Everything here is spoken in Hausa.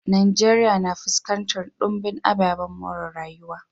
Najeriya na fuskantar dumbin ababen more rayuwa.